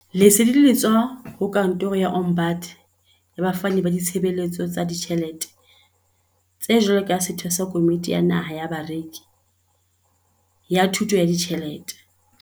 Lesedi le tswa ho Kantoro ya Ombud ya Bafani ba Ditshebeletso tsa Ditjhele te jwalo ka setho sa Komiti ya Naha ya Bareki ya Thu to ya Ditjhelete.